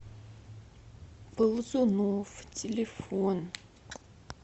ползуновъ телефон